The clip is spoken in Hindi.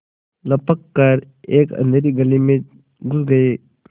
लपक कर एक अँधेरी गली में घुस गये